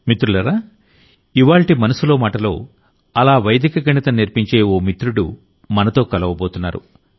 మిత్రులారా ఇవ్వాళ్టి మనసులో మాటలో అలా వైదిక గణితం నేర్పించే ఓ మిత్రుడు మనతో కలవబోతున్నారు